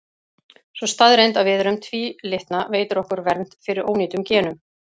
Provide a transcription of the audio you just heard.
Sú staðreynd að við erum tvílitna veitir okkur vernd fyrir ónýtum genum.